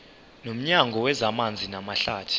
nomnyango wezamanzi namahlathi